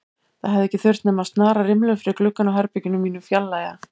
Það hefði ekki þurft nema að snara rimlum fyrir gluggann á herberginu mínu og fjarlægja